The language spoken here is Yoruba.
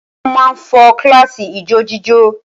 Wọ́n máa fo kíláàsì ijójíjó